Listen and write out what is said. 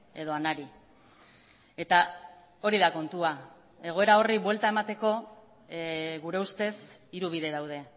edo anari eta hori da kontua egoera horri buelta emateko gure ustez hiru bide daude